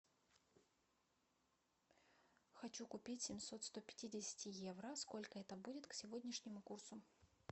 хочу купить семьсот сто пятидесяти евро сколько это будет к сегодняшнему курсу